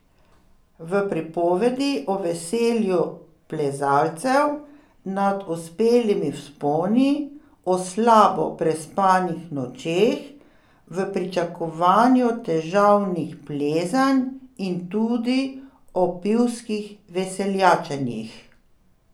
V pripovedi o veselju plezalcev nad uspelimi vzponi, o slabo prespanih nočeh v pričakovanju težavnih plezanj in tudi o pivskih veseljačenjih.